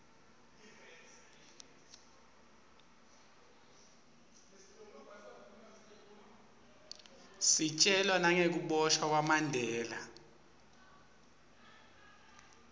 sitjelwa nagekubosha kwamandela